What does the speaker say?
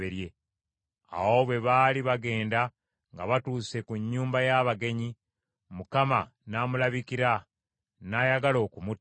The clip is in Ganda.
Awo bwe baali bagenda nga batuuse ku nnyumba y’abagenyi, Mukama n’amulabikira, n’ayagala okumutta.